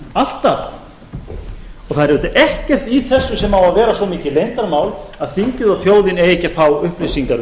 alltaf það er auðvitað ekkert í þessu sem á að vera svo mikið leyndarmál að þingið og þjóðin eigi ekki að fá upplýsingar um